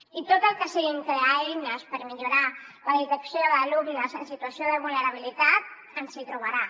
i en tot el que sigui crear eines per millorar la detecció d’alumnes en situació de vulnerabilitat ens hi trobarà